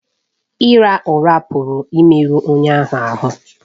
Ịra ụra pụrụ imerụ onye ahụ ahụ́